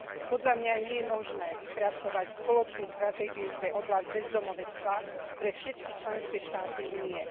Podľa mňa nie je možné vypracovať spoločnú stratégiu pre oblasť bezdomovstva pre všetky členské štáty Únie.